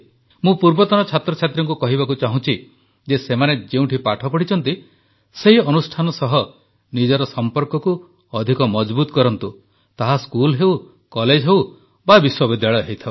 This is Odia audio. ମୁଁ ପୂର୍ବତନ ଛାତ୍ରଛାତ୍ରୀଙ୍କୁ କହିବାକୁ ଚାହୁଁଛି ଯେ ସେମାନେ ଯେଉଁଠି ପାଠ ପଢ଼ିଛନ୍ତି ସେହି ଅନୁଷ୍ଠାନ ସହ ନିଜର ସମ୍ପର୍କକୁ ଅଧିକ ମଜଭୁତ କରନ୍ତୁ ତାହା ସ୍କୁଲ ହେଉ କଲେଜ ହେଉ ବା ବିଶ୍ୱବିଦ୍ୟାଳୟ ହେଉ